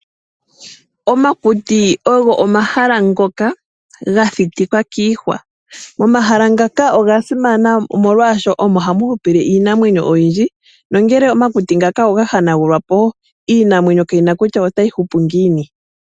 Omakuti ogo omahala ngoka ga thitikwa kiihwa. Omahala ngaka oga simana molwaashoka omo hamu hupile iinamwenyo oyindji, nongele omakuti ngaka oga hanagulwa po iinamwenyo ka yina kutya otayi hupu ngiini.